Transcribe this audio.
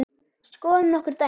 Skoðum nokkur dæmi.